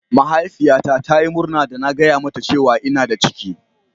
Mahaifiyata ta Yi murna da na gaya mata cewa ina da ciki.